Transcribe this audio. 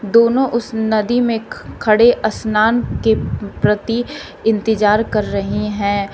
दोनों उस नदी में खड़े स्नान के प्रति इंतजार कर रहे हैं।